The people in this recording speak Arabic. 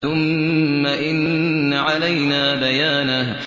ثُمَّ إِنَّ عَلَيْنَا بَيَانَهُ